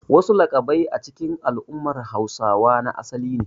Wasu laƙabbai a cikin al'ummar Hausawa na asali ne.